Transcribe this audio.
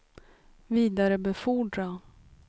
vidarebefordra